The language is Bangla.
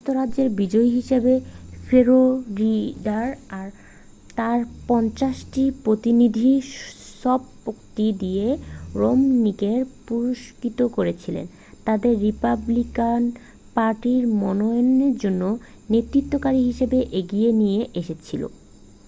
সমস্ত রাজ্যে বিজয়ী হিসাবে ফ্লোরিডা তার পঞ্চাশটি প্রতিনিধির সবকটি দিয়ে রোমনিকে পুরস্কৃত করেছিল তাকে রিপাবলিকান পার্টির মনোনয়নের জন্য নেতৃত্বকারী হিসাবে এগিয়ে নিয়ে এসেছিল